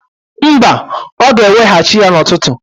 Mba, ọ ga-eweghachi ya n'ututu